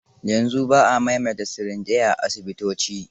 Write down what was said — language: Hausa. Yanzu ba a maimaita sirinjai a asibitoci.